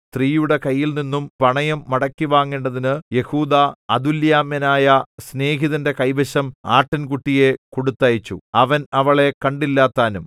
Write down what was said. സ്ത്രീയുടെ കൈയിൽനിന്നും പണയം മടക്കിവാങ്ങേണ്ടതിന് യെഹൂദാ അദുല്ലാമ്യനായ സ്നേഹിതന്റെ കൈവശം ആട്ടിൻകുട്ടിയെ കൊടുത്തയച്ചു അവൻ അവളെ കണ്ടില്ലതാനും